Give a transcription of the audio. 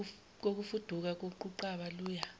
kokufuduka koquqaba luya